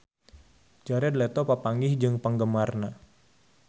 Jared Leto papanggih jeung penggemarna